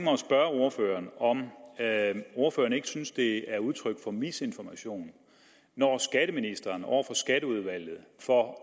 spørge ordføreren om ordføreren ikke synes at det er udtryk for misinformation når skatteministeren over for skatteudvalget for